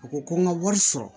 U ko ko n ka wari sɔrɔ